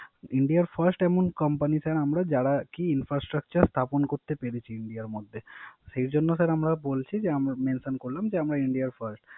ইন্ডিয়ার First এমন company Sir আমরা যারা কি Infrastructure স্থাপন করতে পারছি ইন্ডিয়ার মধ্যে। সেইজন্যে Sir আমরা বলছি যে Mention করছি যে আমরা ইন্ডিয়ার First.